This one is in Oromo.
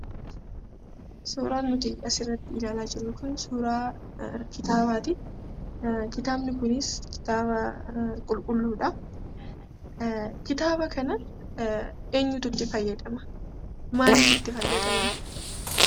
Suuraan nuti asirratti ilaalaa jirru kun suuraa kitaabaati. Kitaabni kunis kitaaba qulqulluudha. Kitaaba kana eenyutu itti fayyadama? Maalif itti fayyadaman?